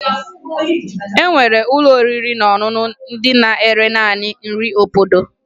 E nwere ụlọ oriri na ọṅụṅụ ndị na-ere naanị nri obodo